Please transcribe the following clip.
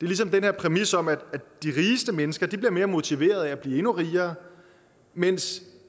ligesom den her præmis om at de rigeste mennesker bliver mere motiverede af at blive endnu rigere mens